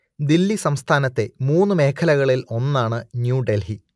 ദില്ലി സംസ്ഥാനത്തെ മൂന്നു മേഖലകളിൽ ഒന്നാണ് ന്യൂ ഡെൽഹി